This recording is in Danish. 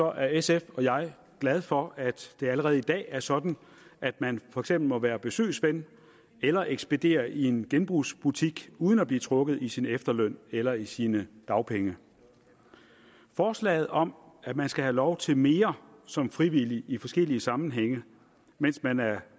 er sf og jeg glad for at det allerede i dag er sådan at man for eksempel må være besøgsven eller ekspedere i en genbrugsbutik uden at blive trukket i sin efterløn eller i sine dagpenge forslaget om at man skal have lov til mere som frivillig i forskellige sammenhænge mens man er